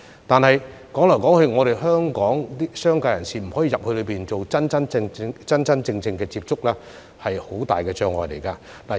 但是，當香港的商界人士無法返回內地真正接觸客戶，這是很大的障礙。